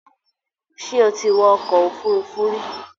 Ṣé o ti wọ ọkọ̀ òfurufú rí?